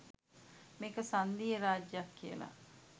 මේක සංධීය රාජ්‍යයක් කියලා.